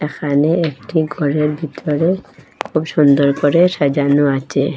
এখানে একটি ঘরের ভিতরে খুব সুন্দর করে সাজানো আচে ।